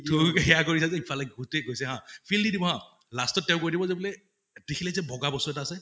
তুমি তো সেয়া কৰিছা যে, ইফালে ভুতে কৈছে হা feel দি দিব হা, last ত তেওঁ কৈ দিব যে বোলে, দেখিলে যে বগা বস্তু এটা আছে